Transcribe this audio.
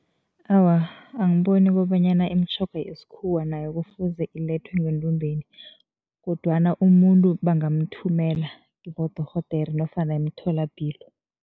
Awa, angiboni kobanyana imitjhoga yesikhuwa nayo kufuze ilethwe ngendumbeni kodwana umuntu bangamthumela kibodorhodere nofana emtholapilo.